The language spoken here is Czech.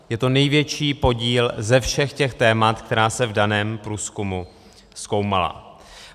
Je to největší podíl ze všech těch témat, která se v daném průzkumu zkoumala.